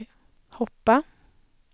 hoppa